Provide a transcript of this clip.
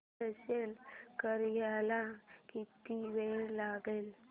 install करायला किती वेळ लागेल